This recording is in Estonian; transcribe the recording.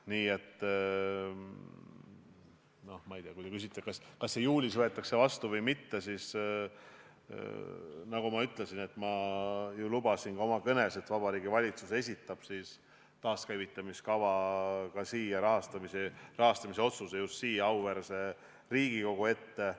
Nii et kui te küsite, kas see võetakse juulis vastu või mitte, siis nagu ma enne oma kõnes lubasin, esitab Vabariigi Valitsus taaskäivitamise kava rahastamise otsuse just siia, auväärse Riigikogu ette.